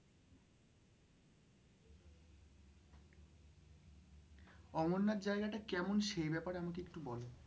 অমরনাথ জায়গাটা কেমন সেই ব্যাপারে আমাকে একটু বলো?